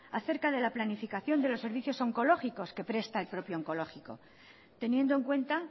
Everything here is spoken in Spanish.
acerca de la planificación de los servicios oncológicos que presta el propio oncológico teniendo en cuenta